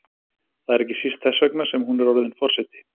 Það er ekki síst þess vegna sem hún er orðin forseti.